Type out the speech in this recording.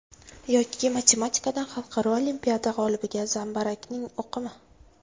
Yoki matematikadan xalqaro olimpiada g‘olibiga zambarakning o‘qimi?